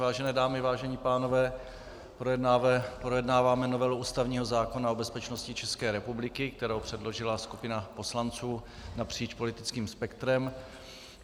Vážené dámy, vážení pánové, projednáváme novelu ústavního zákona o bezpečnosti České republiky, kterou předložila skupina poslanců napříč politickým spektrem.